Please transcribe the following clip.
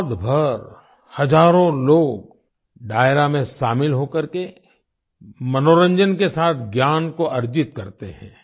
रात भर हजारों लोग डायरा में शामिल हो करके मनोरंजन के साथ ज्ञान को अर्जित करते हैं